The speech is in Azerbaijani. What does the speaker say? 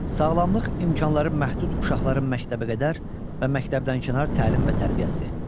Sağlamlıq imkanları məhdud uşaqların məktəbəqədər və məktəbdənkənar təlim və tərbiyəsi.